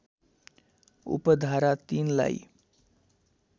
उपधारा ३ लाई